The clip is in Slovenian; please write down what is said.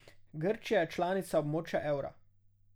Grčija je članica območja evra.